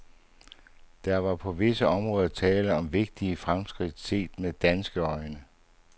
Der var på visse områder tale om vigtige fremskridt set med danske øjne.